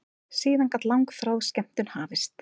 Síðan gat langþráð skemmtun hafist.